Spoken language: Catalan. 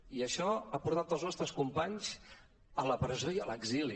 i això ha portat els nostres companys a la presó i a l’exili